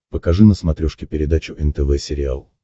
покажи на смотрешке передачу нтв сериал